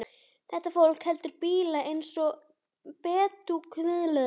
Þetta fólk heldur bíla eins og bedúínar kameldýr.